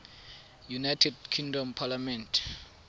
united kingdom parliament